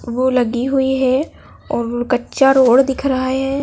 वो लगी हुई है और वो कच्चा रोड दिख रहा है।